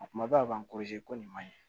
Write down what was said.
A kumaba ko nin man ɲi